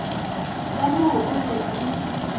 ka mo o be o